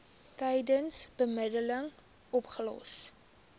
tydens bemiddeling opgelos